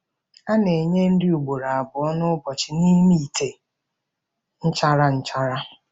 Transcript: A na-enye nri ugboro abụọ n'ụbọchị n'ime ite nchara nchara.